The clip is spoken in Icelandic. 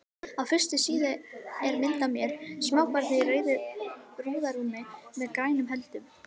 Á fyrstu síðu er mynd af mér, smábarni í rauðu burðarrúmi með grænum höldum.